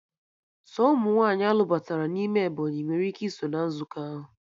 Sọ ụmụ nwaanyị a lụbatara n'ime Ebọnyị nwere ike iso na nzukọ ahụ